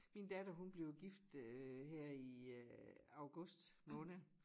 Min datter hun blev gift øh her i øh august måned